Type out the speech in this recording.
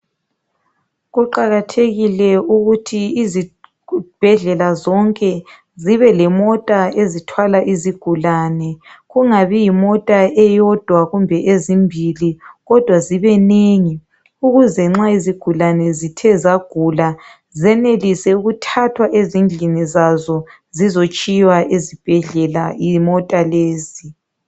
Kuqakathekile ukuthi izibhedlela zonke zibe lemota ezithwala izigulane ,kungabi yimota eyodwa kumbe ezimbili kodwa zibenengi ukuze nxa izigulane zithe zagula zenelise ukuthathwa ezindlini zazo zizotshiywa ezibhedlela yimota lezi.